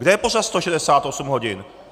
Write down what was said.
Kde je pořad 168 hodin?